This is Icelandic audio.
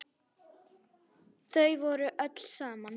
Þau voru öll saman.